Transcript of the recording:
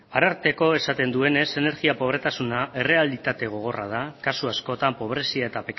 arartekoak esaten duenez energia pobretasuna errealitate gogorra da kasu askotan pobrezia eta